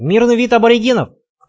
мирный вид аборигенов